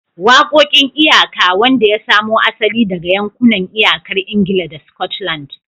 Waƙoƙin iyaka, wanda ya samo asali daga yankunan iyakar Ingila da Scotland.